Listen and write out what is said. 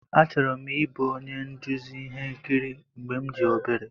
Achọrọ m ịbụ onye nduzi ihe nkiri mgbe m dị obere.